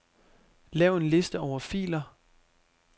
Lav en liste over filer.